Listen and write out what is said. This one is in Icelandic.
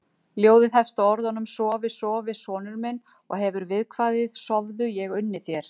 Ljóðið hefst með orðunum Sofi, sofi sonur minn og hefur viðkvæðið: Sofðu, ég unni þér